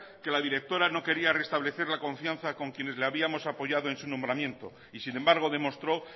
que la directora no quería restablecer la confianza con quienes le habíamos apoyado en su nombramiento y sin embargo demostró